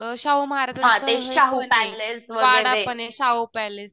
अ शाहू महाराजांचं वाडा पण ये शाहू पॅलेस